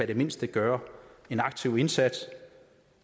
det mindste gøre en aktiv indsats